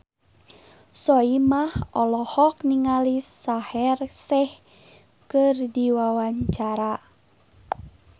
Soimah olohok ningali Shaheer Sheikh keur diwawancara